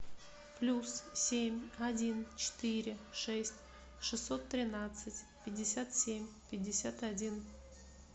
плюс семь один четыре шесть шестьсот тринадцать пятьдесят семь пятьдесят один